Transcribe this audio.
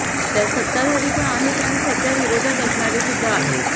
त्यात सत्ताधारी पण आहेत आणि सध्या विरोधात असणारेसुद्धा आहेत